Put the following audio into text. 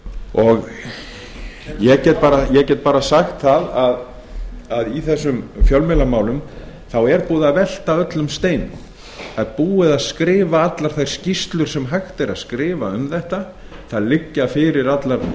og ég get bara sagt það að í þessum fjölmiðlamálum er búið að velta við öllum steinum það er búið að skrifa allar þær skýrslur sem hægt er að skrifa um þetta það liggja fyrir allar